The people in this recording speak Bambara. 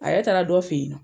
A yɛrɛ taara dɔ fɛ yen nɔ.